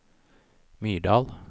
Myrdal